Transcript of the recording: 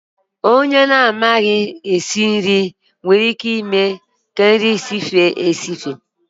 Isi nri nwere ike ime ka nri sife esife ma mee ka ọ dị nro